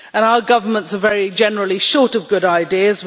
Our governments are generally short of good ideas.